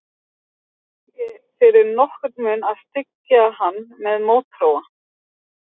Ég þorði ekki fyrir nokkurn mun að styggja hann með mótþróa.